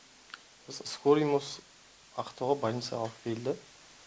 осы скорыймен осы ақтауға больницаға алып келді